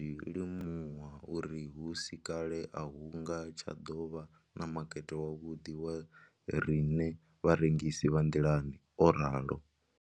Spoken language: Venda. Ndo ḓo zwi limuwa uri hu si kale a hu nga tsha ḓo vha na makete wavhuḓi wa riṋe vharengisi vha nḓilani, o ralo.